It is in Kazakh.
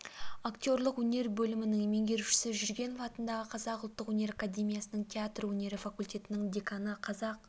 актерлік өнер бөлімінің меңгерушісі жүргенов атындағы қазақ ұлттық өнер академиясының театр өнері факультетінің деканы қазақ